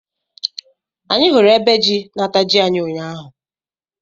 Anyị hụrụ ebe jị na- ata jị anyị ụnyaahụ